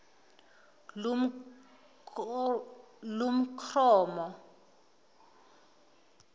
kumkromo